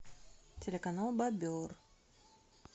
телеканал бобер